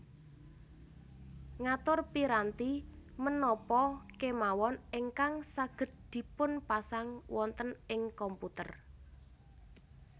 Ngatur piranti menapa kemawon ingkang saged dipunpasang wonten ing komputer